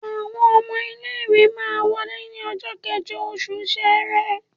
Àwọn ọmọ ilé ìwé máa wọlé ní ọjọ́ kẹ́jọ oṣù Ṣẹrẹ.